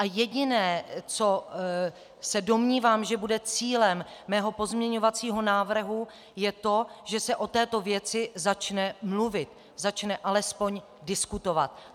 A jediné, co se domnívám, že bude cílem mého pozměňovacího návrhu, je to, že se o této věci začne mluvit, začne alespoň diskutovat.